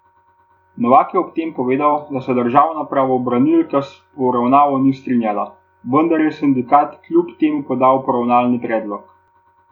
Novak je ob tem povedal, da se državna pravobranilka s poravnavo ni strinjala, vendar je sindikat kljub temu podal poravnalni predlog.